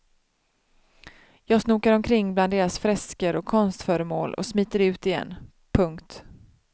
Jag snokar omkring bland deras fresker och konstföremål och smiter ut igen. punkt